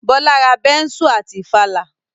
Bọ́lá ra bẹ́nsù àti ìfàlà